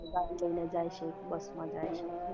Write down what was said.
ગાડી લઇ ને જય છે કે બસ માં જય છે